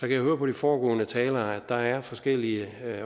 jeg høre på de foregående talere at der er forskellige